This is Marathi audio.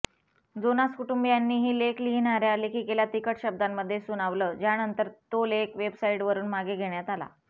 जोनास कुटुंबीयांनीही लेख लिहिणाऱ्या लेखिकेला तिखट शब्दांमध्ये सुनावलं ज्यानंतर तो लेख वेबसाईटवरुन मागे घेण्यात आला